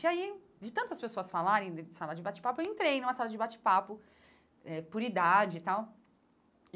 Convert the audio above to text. E aí, de tantas pessoas falarem de sala de bate-papo, eu entrei numa sala de bate-papo eh por idade e tal.